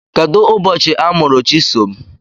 Kedụ ụbọchị amụrụ Chisom?